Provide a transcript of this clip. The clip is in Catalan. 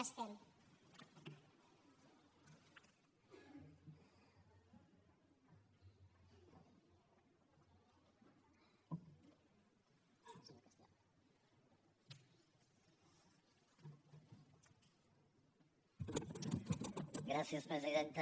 gràcies presidenta